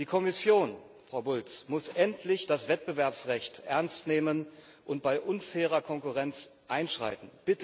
Die Kommission, Frau Bulc, muss endlich das Wettbewerbsrecht ernst nehmen und bei unfairer Konkurrenz einschreiten.